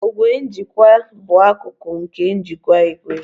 Ogwe njikwa bụ akụkụ nke njikwa igwe